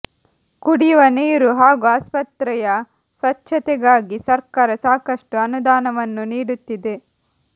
ಕುಡಿಯುವ ನೀರು ಹಾಗೂ ಆಸ್ಪತ್ರೆಯ ಸ್ವಚ್ಛತೆಗಾಗಿ ಸರ್ಕಾರ ಸಾಕಷ್ಟು ಅನುದಾನವನ್ನು ನೀಡುತ್ತಿದೆ